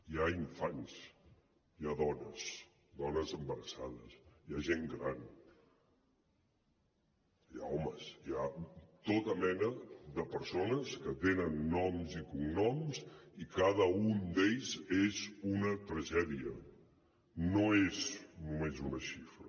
hi ha infants hi ha dones dones embarassades hi ha gent gran hi ha homes hi ha tota mena de persones que tenen noms i cognoms i cada un d’ells és una tragèdia no és només una xifra